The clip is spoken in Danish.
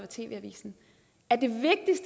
tv avisen at